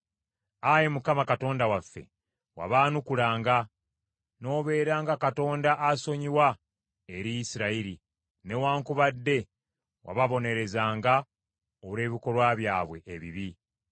Ayi Mukama Katonda waffe, wabaanukulanga; n’obeeranga Katonda asonyiwa eri Isirayiri, newaakubadde wababonerezanga olw’ebikolwa byabwe ebibi.